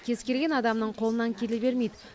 кез келген адамның қолынан келе бермейді